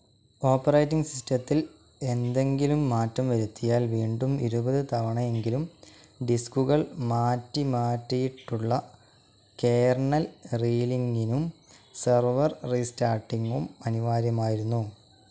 Operating സിസ്റ്റത്തിൽ എന്തെങ്കിലും മാറ്റം വരുത്തിയാൽ വീണ്ടും ഇരുപത് തവണയെങ്കിലും ഡിസ്കുകൾ മാറ്റിമാറ്റിയിട്ടുള്ള കെർണൽ റീലിങ്കിങ്ങും സെർവർ റിസ്റ്റാർട്ടിംഗ്‌ അനിവാര്യമായിരുന്നു.